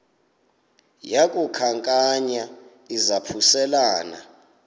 yaku khankanya izaphuselana